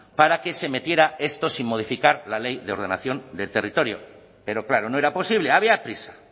para que se metiera esto sin modificar la ley de ordenación del territorio pero claro no era posible había prisa